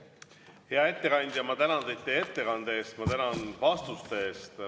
Hea ettekandja, ma tänan teid teie ettekande eest, ma tänan vastuste eest!